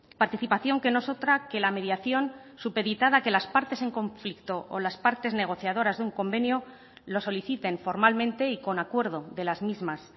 participación que no es otra que la mediación supeditada a que las partes en conflicto o las partes negociadoras de un convenio lo soliciten formalmente y con acuerdo de las mismas